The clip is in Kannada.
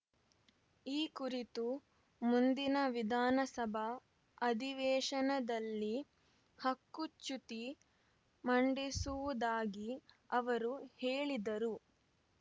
ಈ ಕುರಿತು ಮುಂದಿನ ವಿಧಾನಸಭಾ ಅಧಿವೇಶನದಲ್ಲಿ ಹಕ್ಕು ಚ್ಯುತಿ ಮಂಡಿಸುವುದಾಗಿ ಅವರು ಹೇಳಿದರು